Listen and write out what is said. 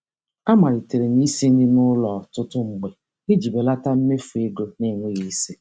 A malitere m isi nri n'ụlọ ọtụtụ mgbe iji belata mmefu ego n'enweghị isi.